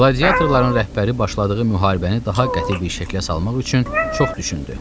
Qladiatorların rəhbəri başladığı müharibəni daha qəti bir şəklə salmaq üçün çox düşündü.